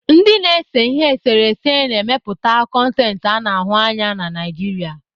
Ndị na-ese ihe eserese na-emepụta koneti ana ahu anya na Naijiria.